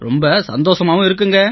ரொம்ப சந்தோசமா இருக்குங்க